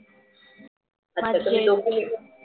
अच्छा दोघी मिळून